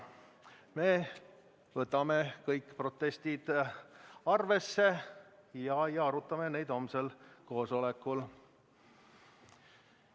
Me võtame kõik protestid arvesse ja arutame neid homsel koosolekul.